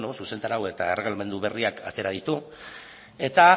zuzentarau eta erregelamendu berriak atera ditu eta